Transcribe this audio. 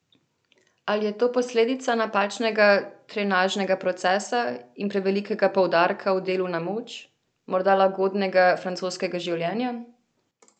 Ali je to posledica napačnega trenažnega procesa in prevelikega poudarka v delu na moč, morda lagodnega francoskega življenja?